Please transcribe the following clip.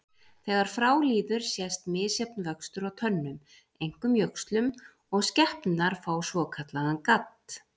Þegar frá líður sést misjafn vöxtur á tönnum, einkum jöxlum, og skepnurnar fá svokallaðan gadd.